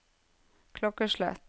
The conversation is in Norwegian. klokkeslett